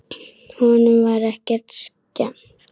Honum var ekki skemmt.